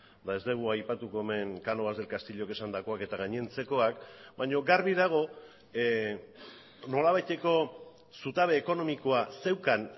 eta ez dugu aipatuko hemen cánovas del castillok esandakoak eta gainontzekoak baina garbi dago nolabaiteko zutabe ekonomikoa zeukan